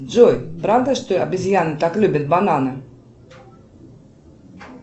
джой правда что обезьяны так любят бананы